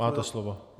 Máte slovo.